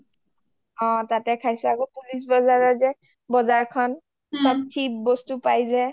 অ তাতে খাইছো আকৌ পুলিচ বজাৰত যে বজাৰখন চব cheap বস্তু পাই যে